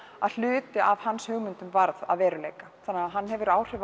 að hluti af hans hugmyndum varð að veruleika þannig hann hefur áhrif